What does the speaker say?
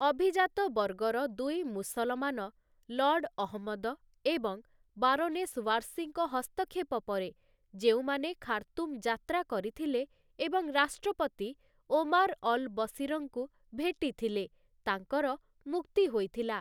ଅଭିଜାତ ବର୍ଗର ଦୁଇ ମୁସଲମାନ, ଲର୍ଡ଼ ଅହମ୍ମଦ ଏବଂ ବାରୋନେସ୍‌ ଓ୍ୱାର୍ସିଙ୍କ ହସ୍ତକ୍ଷେପ ପରେ, ଯେଉଁମାନେ ଖାର୍ତୁମ୍ ଯାତ୍ରା କରିଥିଲେ ଏବଂ ରାଷ୍ଟ୍ରପତି ଓମାର୍‌ ଅଲ୍‌ବଶୀରଙ୍କୁ ଭେଟିଥିଲେ, ତାଙ୍କର ମୁକ୍ତି ହୋଇଥଲା ।